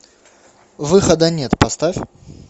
выхода нет поставь